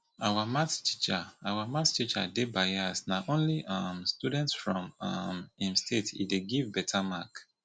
our math teacher our math teacher dey bias na only um students from um im state he dey give beta mark